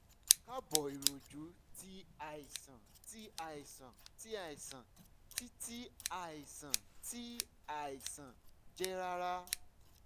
kaaboiroju ti aisan ti aisan ti aisan ti ti aisan ti aisan jẹ rara